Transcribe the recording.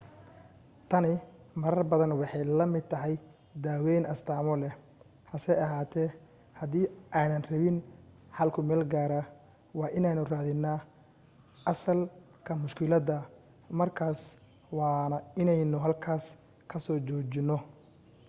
tani marar badan waxay la mid tahay daawayn astaamo leh hase ahaatee hadii aynaan rabin xal ku meelgaara waa inaynu raadinaa asalka mushkiladda markaas waana inaynu halkaas ka soo joojino